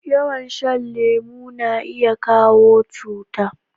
Yawan shan lemo na iya kawo cuta